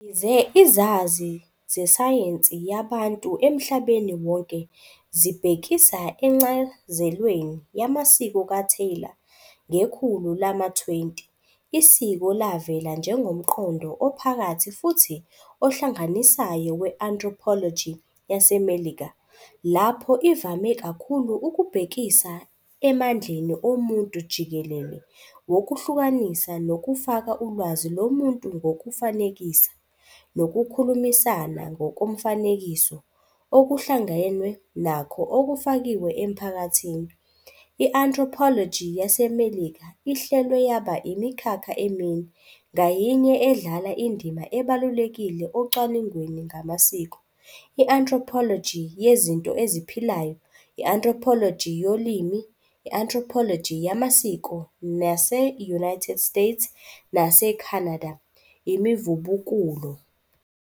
Yize izazi zesayensi yabantu emhlabeni wonke zibhekisa encazelweni yamasiko kaTylor, ngekhulu lama-20 "isiko" lavela njengomqondo ophakathi futhi ohlanganisayo we-anthropology yaseMelika, lapho ivame kakhulu ukubhekisa emandleni omuntu jikelele wokuhlukanisa nokufaka ulwazi lomuntu ngokufanekisa, nokukhulumisana ngokomfanekiso okuhlangenwe nakho okufakiwe emphakathini. I-anthropology yaseMelika ihlelwe yaba imikhakha emine, ngayinye edlala indima ebalulekile ocwaningweni ngamasiko- i-anthropology yezinto eziphilayo, i-anthropology yolimi, i-anthropology yamasiko, nase-United States naseCanada, imivubukulo.